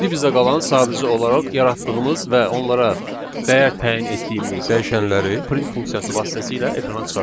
İndi bizə qalan sadəcə olaraq yaratdığımız və onlara dəyər təyin etdiyimiz dəyişənləri print funksiyası vasitəsilə ekrana çıxartmaqdır.